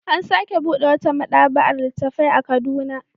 An sake buɗe wata maɗaba'ar littattafai a Kaduna.